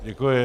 Děkuji.